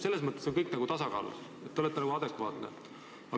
Selles mõttes on kõik nagu tasakaalus ja te räägite adekvaatset juttu.